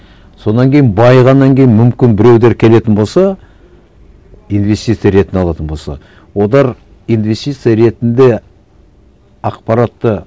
содан кейін байығаннан кейін мүмкін біреулер келетін болса инвестиция ретін алатын болса олар инвестиция ретінде ақпаратты